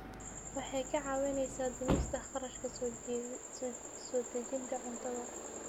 Waxay kaa caawinaysaa dhimista kharashka soo dejinta cuntada.